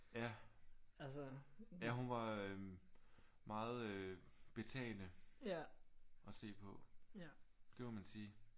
Ja. Ja hun var øh meget øh betagende at se på. Det må man sige